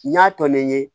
N y'a tɔ ne ye